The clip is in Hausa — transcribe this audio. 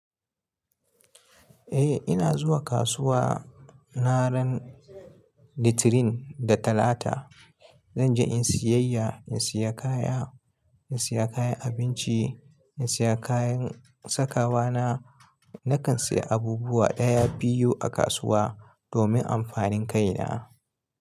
Eh ina zuwa kasuwa ranan litirin da talata. Zan je in yi siyayya, in siya kaya, in siya kayan abinci, in siya kayan sakawa na. Nakan siya abubuwa ɗaya, biyu a kasuwa domin amfanin kaina.